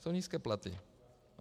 Jsou nízké platy.